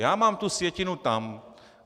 Já mám tu sjetinu tam.